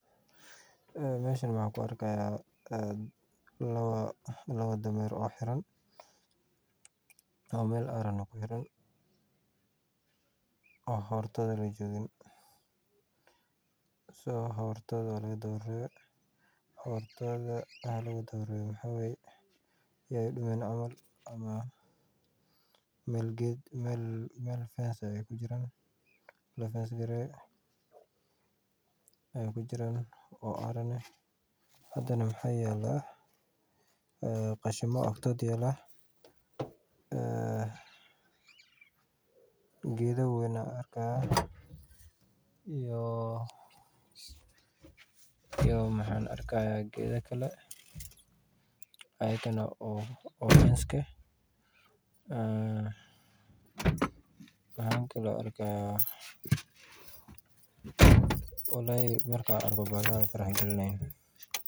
Meeshan waxaan ku arki haaya laba dameer oo xiran oo meel aaran ah kuxiran oo hortooda lajoogin waa laga daba reebay si aay udumin meel ayeey kujiraan oo aaran ah hadana waxa yaala qashin ayaa oktooda yaala geeda weyn ayaan arki haaya iyo geeda kale ayaan arki haaya waxaa kale aan arki haaya waay i farxad galinayan.